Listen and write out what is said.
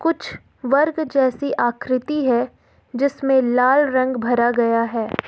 कुछ वर्ग जैसी आकृति है जिसमें लाल रंग भरा गया है।